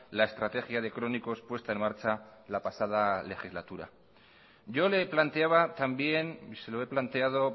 la estrategia de crónicos puesta en marcha la pasada legislatura yo le planteaba también y se lo he planteado